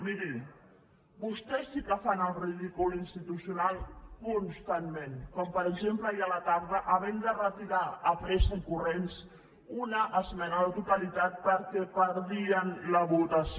miri vostès sí que fan el ridícul institucional constantment com per exemple ahir a la tarda havent de retirar de pressa i corrents una esmena a la totalitat perquè perdien la votació